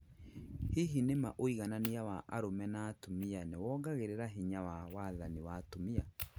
hihi nĩ ma ũiganania wa arũme na atumia niwongagĩrĩra hinya wa wathani wa atumia